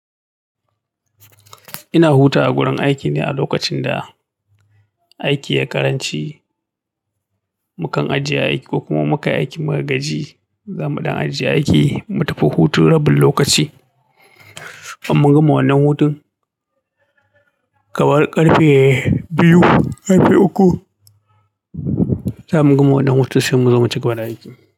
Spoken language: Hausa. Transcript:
Ina hutawa a gurin aiki ne a lokacin da aiki yai karanci. Mukan ajiye aiki ko kuma muka yi aiki muka gaji, zamu ɗan ajiye aiki mu tafi hutu rabin lokaci. In mun gama wannan hutun, kamar ƙarfe biyu, ƙarfe uku, zamu gama wannan hutun sai muzo mu ci gaba da aiki.